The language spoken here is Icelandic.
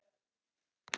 Það hefur engin áhrif.